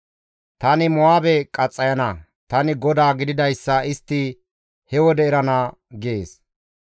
Tani Mo7aabe qaxxayana; tani GODAA gididayssa istti he wode erana› gees.